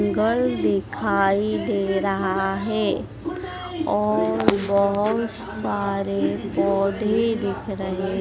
गल दिखाई दे रहा है और बहोत सारे पौधे दिख रहे--